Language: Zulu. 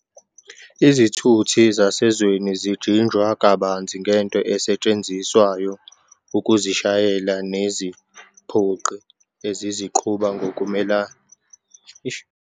Izithuthi zasezweni zijinjwa kabanzi ngento esetshenziswayo ukuzishayela neziphoqi eziziqhuba ngokumelene nephansi. ukuba namasondo, ukuba nojantshi.